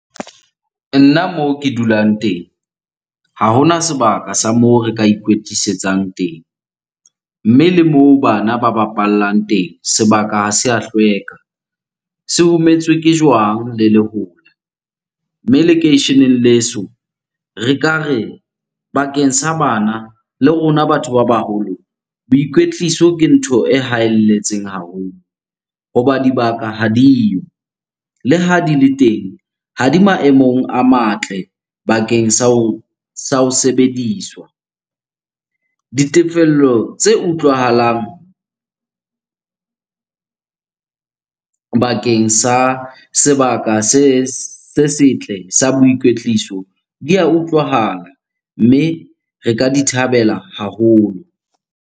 Nna moo ke dulang teng ha hona sebaka sa moo re ka ikwetlisetsang teng. Mme le moo bana ba bapallang teng, sebaka ha se ya hlweka, se hometswe ke jwang le lehola. Mme lekeisheneng leso re ka re, bakeng sa bana le rona batho ba baholo, boikwetliso ke ntho e haelletseng haholo hoba dibaka ha diyo. Le ha di le teng ha di maemong a matle bakeng sa ho sebediswa. Ditefello tse utlwahalang bakeng sa sebaka se setle sa boikwetliso di ya utlwahala. Mme re ka di thabela haholo.